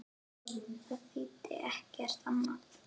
Það þýddi ekkert annað.